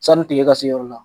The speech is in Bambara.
Sani tile ka se yɔrɔ in na